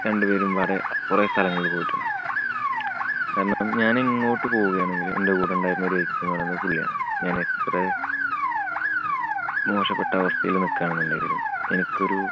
രണ്ടുപേരും പാടെ കൊറെ സ്ഥലങ്ങളിൽ പോയിട്ടുണ്ട്. ഞാൻ എങ്ങോട്ട് പോവുകയാണെങ്കിലും എന്‍ടെ കൂടെ ഉണ്ടായിരുന്ന വ്യക്തി എന്ന് പറയുന്നത് പുള്ളിയാണ്. ഞാനെത്ര മോശപ്പെട്ട അവസ്ഥയില് നിക്കാണെന്നുണ്ടെങ്കിലും എനിക്കൊരു